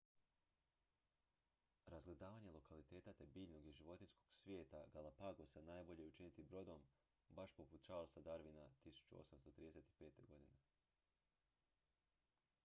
razgledavanje lokaliteta te biljnog i životinjskog svijeta galapagosa najbolje je učiniti brodom baš poput charlesa darwina 1835. godine